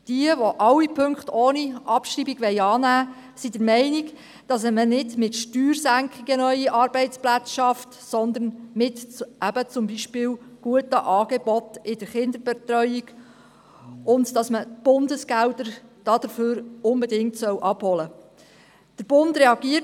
Jene, die alle Punkte ohne Abschreibung annehmen wollen, sind der Meinung, neue Arbeitsplätze schaffe man nicht mit Steuersenkungen, sondern beispielsweise mit guten Angeboten in der Kinderbetreuung, weshalb man die Bundesgelder dafür unbedingt abholen solle.